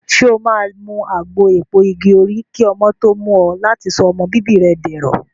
Ṣé o máa mu àgbo èpo igi òrí kí ọmọ tó mú ọ láti sọ ọmọ bíbí dẹ̀rọ̀.